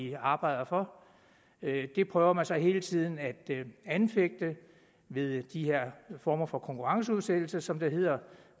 vi arbejder for det prøver man så hele tiden at anfægte ved de her former for konkurrenceudsættelse som det hedder